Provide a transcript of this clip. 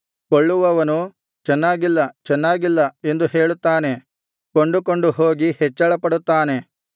ಕೊಳ್ಳುವವನು ಚೆನ್ನಾಗಿಲ್ಲ ಚೆನ್ನಾಗಿಲ್ಲ ಎಂದು ಹೇಳುತ್ತಾನೆ ಕೊಂಡುಕೊಂಡು ಹೋಗಿ ಹೆಚ್ಚಳಪಡುತ್ತಾನೆ